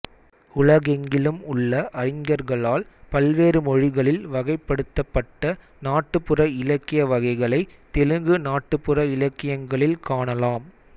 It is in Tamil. உலகெங்கிலும் உள்ள அறிஞர்களால் பல்வேறு மொழிகளில் வகைப்படுத்தப்பட்ட நாட்டுப்புற இலக்கிய வகைகளை தெலுங்கு நாட்டுப்புற இலக்கியங்களில் காணலாம்